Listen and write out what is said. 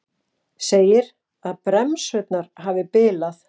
Segir að bremsurnar hafi bilað